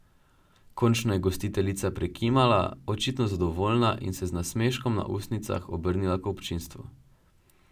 Končno je gostiteljica prikimala, očitno zadovoljna, in se z nasmeškom na ustnicah obrnila k občinstvu.